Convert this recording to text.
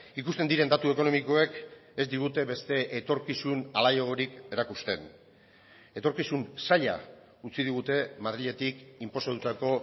ikusten diren datu ekonomikoek ez digute beste etorkizun alaiagorik erakusten etorkizun zaila utzi digute madriletik inposatutako